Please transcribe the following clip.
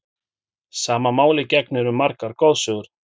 Sama máli gegnir um margar goðsögur.